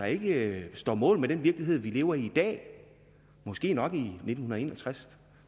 ikke står mål med den virkelighed vi lever i i dag måske nok den i nitten en og tres